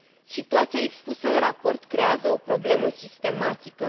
Situația expusă în raport creează o problemă sistematică.